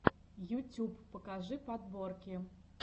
ютюб покажи подборки